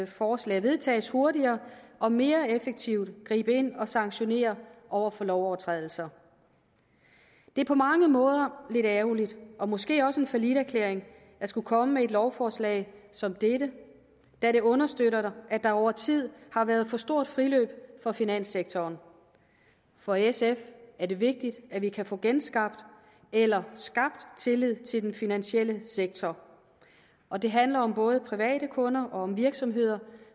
forslag vedtages hurtigere og mere effektivt gribe ind og sanktionere over for lovovertrædelser det er på mange måder lidt ærgerligt og måske også en falliterklæring at skulle komme med et lovforslag som dette da det understøtter at der over tid har været et for stort friløb for finanssektoren for sf er det vigtigt at vi kan få genskabt eller skabt tillid til den finansielle sektor og det handler om både private kunder og om virksomheder